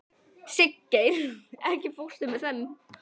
Siggeir, ekki fórstu með þeim?